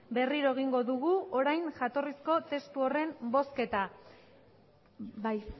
berriro egingo dugu orain jatorrizko testu horren bozketa bai